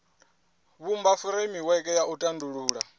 vhumba furemiweke ya u tandulula